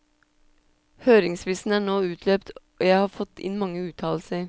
Høringsfristen er nå utløpt, og jeg har fått inn mange uttalelser.